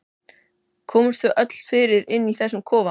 Komumst við öll fyrir inni í þessum kofa?